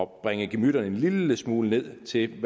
bringe gemytterne en lille smule ned til